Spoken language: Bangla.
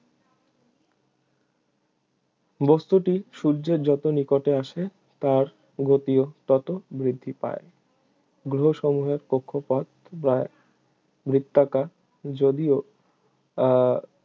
বস্তুটি সূর্যের যত নিকটে আসে তার গতিও তত বৃদ্ধি পায় গ্রহসমূহের কক্ষপথ প্রায় বৃত্তাকার যদিও আহ